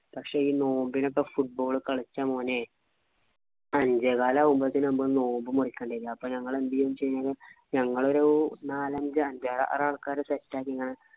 പക്ഷെ ഈ നോമ്പിനൊക്കെ football കളിച്ചാ മോനെ അഞ്ചേകാലാകുമ്പോഴത്തേനും നമ്മ നോമ്പു മുറിക്കേണ്ടിവരും. അപ്പൊ ഞങ്ങൾ എന്തുചെയ്യുന്നേച്ചുകഴിഞ്ഞാൽ ഞങ്ങളൊരു നാലഞ്ചു അഞ്ചാറ് ആള്‍ക്കാര് set ആക്കി ഇങ്ങനെ